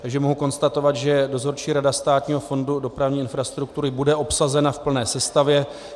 Takže mohu konstatovat, že Dozorčí rada Státního fondu dopravní infrastruktury bude obsazena v plné sestavě.